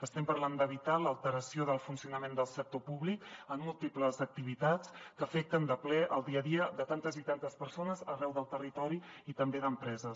estem parlant d’evitar l’alteració del funcionament del sector públic en múltiples activitats que afecten de ple el dia a dia de tantes i tantes persones arreu del territori i també d’empreses